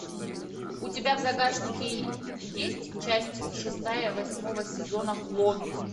у тебя в загашнике есть часть шестая восьмого сезона клон